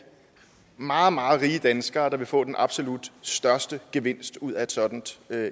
meget meget rige danskere der vil få den absolut største gevinst ud af et sådant